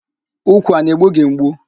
Úkwù a na-egbugị mgbu?